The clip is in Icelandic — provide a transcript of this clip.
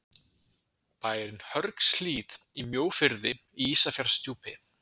Bærinn Hörgshlíð í Mjóafirði í Ísafjarðardjúpi.